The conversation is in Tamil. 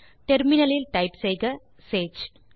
டெர்மினல் லில் டைப் செய்க சேஜ்